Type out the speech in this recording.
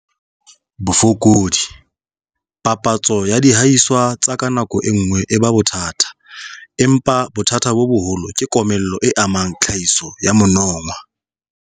Bofokodi - Papatso ya dihahiswa tsa ka ka nako e nngwe e ba bothata empa bothata bo boholo ke komello e amang tlhahiso ya monongwaha.